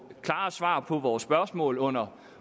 klare svar på vores spørgsmål under